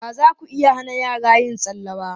Ba za ku iya hana yara yin tsalle ba.